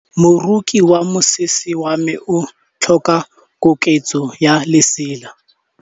Moroki wa mosese wa me o tlhoka koketsô ya lesela.